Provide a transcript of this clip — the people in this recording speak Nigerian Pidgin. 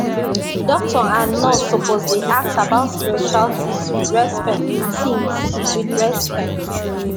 doctor and nurse suppose dey ask about spiritual things with respect things with respect